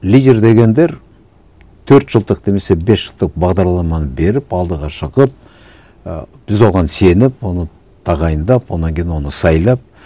лидер дегендер төрт жылдық немесе бес жылдық бағдарламаны беріп алдыға шығып і біз оған сеніп оны тағайындап одан кейін оны сайлап